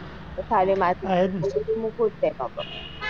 પથારી માં થી